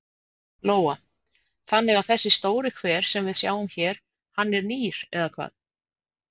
Lóa: Þannig að þessi stóri hver sem við sjáum hér hann er nýr eða hvað?